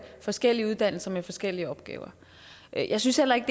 forskellige uddannelser med forskellige opgaver jeg synes heller ikke